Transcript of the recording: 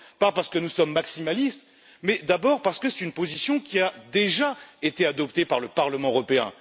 Pas parce que nous sommes maximalistes, mais parce que c'est une position qui a déjà été adoptée par le Parlement européen.